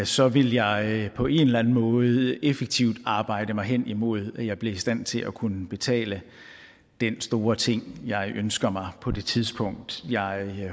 så ville jeg på en eller anden måde effektivt arbejde mig hen imod at jeg blev i stand til at kunne betale den store ting jeg ønskede mig på det tidspunkt jeg